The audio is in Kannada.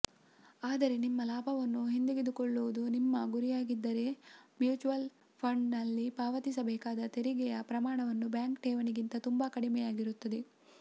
ಆದರೆ ನಿಮ್ಮ ಲಾಭವನ್ನು ಹಿಂದೆಗೆದುಕೊಳ್ಳುವುದು ನಿಮ್ಮ ಗುರಿಯಾಗಿದ್ದರೆ ಮ್ಯೂಚ್ಯುವಲ್ ಫಂಡ್ಗಳಲ್ಲಿ ಪಾವತಿಸಬೇಕಾದ ತೆರಿಗೆಯ ಪ್ರಮಾಣವು ಬ್ಯಾಂಕ್ ಠೇವಣಿಗಿಂತ ತುಂಬ ಕಡಿಮೆಯಾಗಿರುತ್ತದೆ